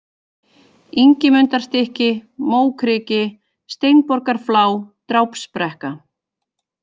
Ingimundarstykki, Mókriki, Steinborgarflá, Drápsbrekka